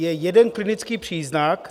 Je jeden klinický příznak.